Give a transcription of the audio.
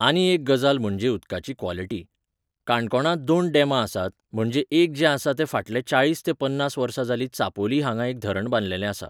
आनी एक गजाल म्हणजे उदकाची क्वोलिटी काणकोणांत दोन डेमां आसात म्हणजे एक जे आसा ते फाटले चाळीस तें पन्नास वर्सा जाली चापोली हांगा एक धरण बांदलेले आसा